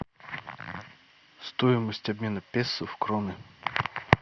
стоимость обмена песо в кроны